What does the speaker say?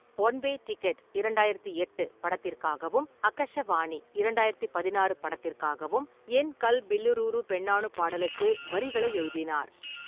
One way ticket இரண்டாயிரத்து எட்டு படத்திற்காகவும், அக்கஷவாணி இரண்டாயிரத்து பதினாறு படத்திற்காகவும் "என் கல்பில்லுலூரு பெண்ணானு" பாடலுக்கு வரிகளை எழுதினார்.